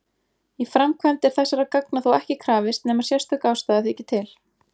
Í framkvæmd er þessara gagna þó ekki krafist nema sérstök ástæða þyki til.